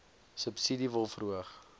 subsidie wil verhoog